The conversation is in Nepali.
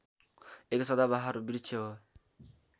एक सदाबहार वृक्ष हो